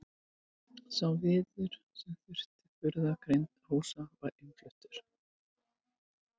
Sá viður sem þurfti í burðargrind húsa var innfluttur.